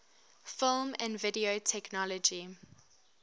film and video technology